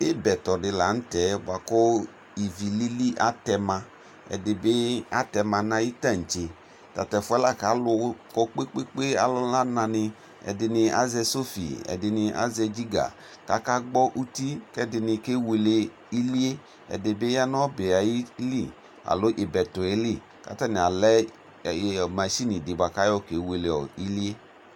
Ibɛtɔ di lanʋ tɛ bʋakʋ ivi lili atɛma ɛdibi atɛma nʋ ayibtantse tatʋ ɛfʋɛ lakʋ alʋ kɔ kpe kpe kpe ɔlʋna nani ɛdini azɛ sɔfi ɛdini azɛ ginga kʋ akagbɔ uti kʋ ɛdini kewele ilie ɛdibi yanʋ ibɛtɔ yɛlɩ kʋ atani alɛ mashinidi buakʋ ayɔ kewele ilie